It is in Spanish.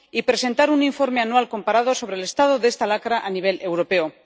y presentar un informe anual comparado sobre el estado de esta lacra a nivel europeo.